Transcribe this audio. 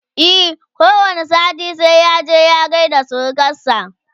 e ko wani sati sai ya je ya gaida surukansa